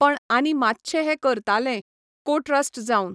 पण आनी मातशें हें करतालें, कॉट्रास्ट जावन.